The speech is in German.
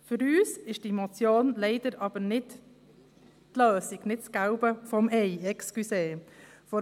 Für uns ist diese Motion leider nicht die Lösung, nicht das Gelbe vom Ei, entschuldigen Sie.